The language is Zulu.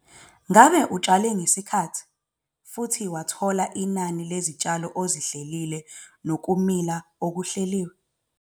Ngabe utshale ngesikhathi futhi wathola inani lezitshalo ozihlelile nokumila okuhleliwe?